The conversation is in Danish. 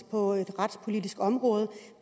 på det retspolitiske område